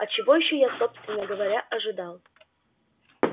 а чего ещё я собственно говоря ожидал